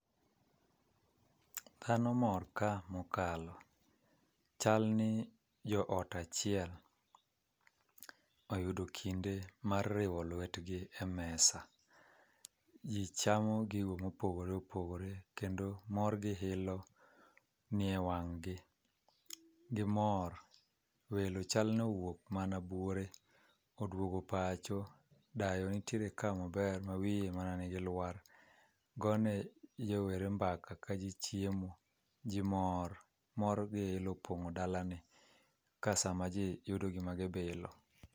Dhano mor ka mokalo, chal ni jo ot achiel oyudo kinde mar riwo lwetgi e mesa. Ji chamo gigo ma opogore opogore, kendo mor gi ilo ni e wang' gi. Gimor. Welo chal ni owuok mana buore, oduogo pacho. Dayo nitiere ka maber, ma wiye mana nigi lwar, gone rowere mbaka ka ji chiemo. Ji mor. Mor gi ilo opongó dalani kasama ji yudo gima gibilo.